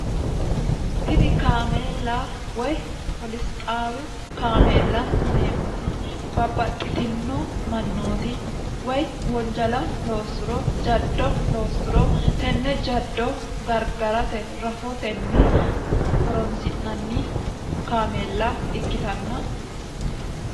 tini kaameella woy polisxaawi kaameella yineemmoti babbaxxitino mannooti woy wonjala loossuro jaddo loossuro tenne jaddo gargarate rahootenni horonsi'nanni kaameella ikkitanna